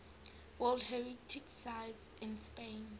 world heritage sites in spain